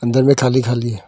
अंदर में खाली खाली है।